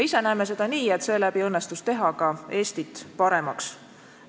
Ise näeme seda nii, et seeläbi õnnestus teha ka Eestit paremaks.